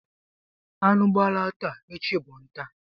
Anụ gbala taa, echi bụ nta.